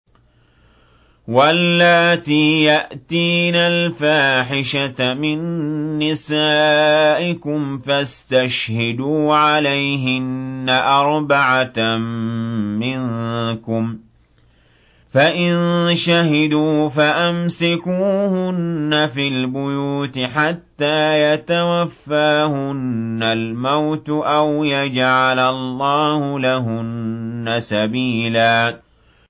وَاللَّاتِي يَأْتِينَ الْفَاحِشَةَ مِن نِّسَائِكُمْ فَاسْتَشْهِدُوا عَلَيْهِنَّ أَرْبَعَةً مِّنكُمْ ۖ فَإِن شَهِدُوا فَأَمْسِكُوهُنَّ فِي الْبُيُوتِ حَتَّىٰ يَتَوَفَّاهُنَّ الْمَوْتُ أَوْ يَجْعَلَ اللَّهُ لَهُنَّ سَبِيلًا